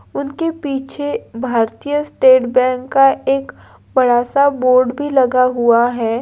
उनके पीछे Bharatiya state bank का एक बड़ा सा बोर्ड भी लगा हुआ है ।